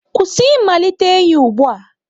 Kwụsị ịmalite enyi ugbu a!